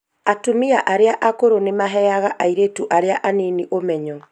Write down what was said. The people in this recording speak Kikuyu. Atumia arĩa akũrũ nĩmaheaga airĩtu arĩa anini ũmenyo.